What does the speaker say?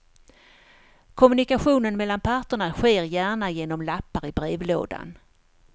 Kommunikationen mellan parterna sker gärna genom lappar i brevlådan.